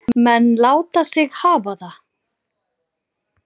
Menn láta sig hafa það.